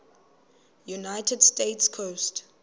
united states coast